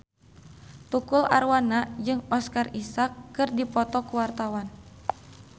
Tukul Arwana jeung Oscar Isaac keur dipoto ku wartawan